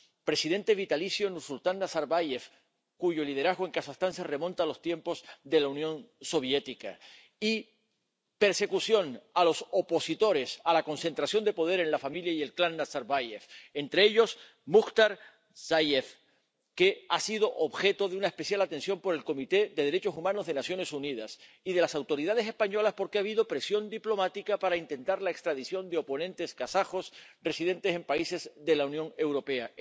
Un presidente vitalicio, Nursultán Nazarbáyev, cuyo liderazgo en Kazajistán se remonta a los tiempos de la Unión Soviética, y persecución de los opositores a la concentración de poder en la familia y el clan Nazarbáyev, entre ellos Mukhtar Dzhakishev, que ha sido objeto de una especial atención por el Comité de Derechos Humanos de las Naciones Unidas y por las autoridades españolas, porque ha habido presión diplomática para intentar la extradición de oponentes kazajos residentes en países de la Unión Europea.